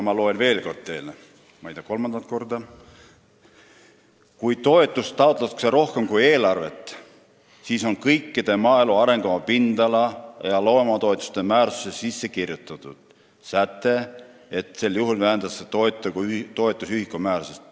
Ma loen teile selle veel kord ette, kolmandat korda: kui toetuste taotlusi on rohkem kui eelarves raha, siis vähendatakse toetuse ühikumäärasid – see on kõikide maaelu arengukava pindala- ja loomatoetuste määrustesse sisse kirjutatud säte.